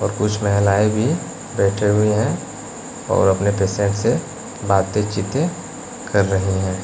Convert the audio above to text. और कुछ महिलाएं भी बैठे हुए हैं और अपने पेशेंट से बातें चीतें कर रही हैं।